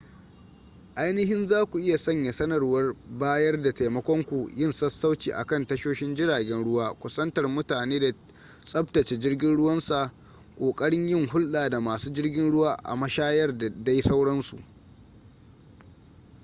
ainihin za ku iya sanya sanarwar bayar da taimakon ku yin sassauci a kan tashoshin jiragen ruwa kusantar mutane da tsabtace jirgin ruwan sa kokarin yin hulɗa da masu jirgin ruwa a mashayar da dai sauransu